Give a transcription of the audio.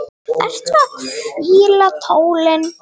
Ertu að hvíla tólin?